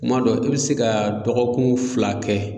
Kuma dɔ i bɛ se ka dɔgɔkun fila kɛ